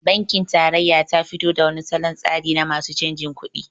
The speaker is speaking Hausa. Bankin tarayya tafi to da wani solon tsari na masu canjin kuɗi